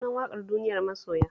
Sunan waƙar "duniyar masoya"